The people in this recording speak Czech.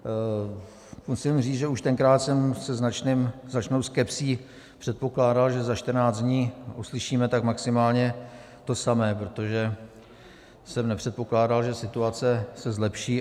Musím říci, že už tenkrát jsem se značnou skepsí předpokládal, že za 14 dní uslyšíme tak maximálně to samé, protože jsem nepředpokládal, že situace se zlepší.